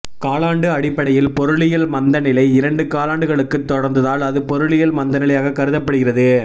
காலாண்டு அடிப்படையில் பொருளியல் மந்தநிலை இரண்டு காலாண்டுகளுக்குத் தொடர்ந்தால் அது பொருளியல் மந்தநிலையாகக் கருதப்படுகிறது